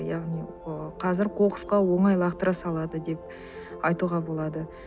яғни ы қазір қоқысқа оңай лақтыра салады деп айтуға болады